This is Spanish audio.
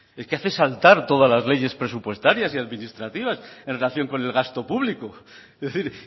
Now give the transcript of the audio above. es que hace saltar todas las leyes presupuestarias y administrativas en relación con el gasto público es decir